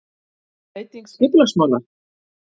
Breyting skipulagsmála?